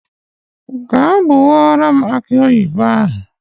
Gaa gbawara m aki oyibo ahụ.